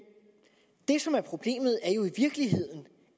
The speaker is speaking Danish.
det som er problemet er jo i virkeligheden